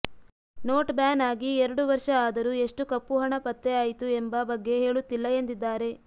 note ban ಆಗಿ ಎರಡು ವರ್ಷ ಆದರೂ ಎಷ್ಟು ಕಪ್ಪು ಹಣ ಪತ್ತೆ ಆಯಿತು ಎಂಬ ಬಗ್ಗೆ ಹೇಳುತ್ತಿಲ್ಲ ಎಂದಿದ್ದಾರೆ